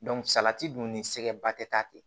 salati dun ni sɛgɛnba tɛ taa ten